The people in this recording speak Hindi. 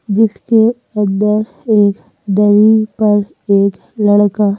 जिसके अंदर एक दही पर एक लड़का।--